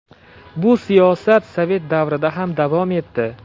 Bu siyosat sovet davrida ham davom etdi.